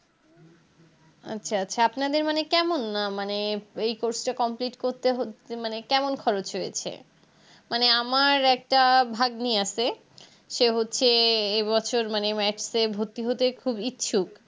আচ্ছা আচ্ছা আপনাদের মানে কেমন মানে এই Course টা Complete করতে হচ্ছে মানে কেমন খরচ হয়েছে মানে আমার একটা ভাগ্নি আছে সে হচ্ছে এবছর মানে Matc এ ভর্তি হতে খুব ইচ্ছুক